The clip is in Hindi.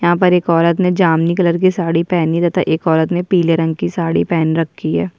यहां पर एक औरत ने जामुनी कलर की साड़ी पहनी एक औरत ने पीले रंग की साड़ी पहन रखी है।